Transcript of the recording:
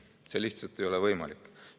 See lihtsalt ei ole võimalik.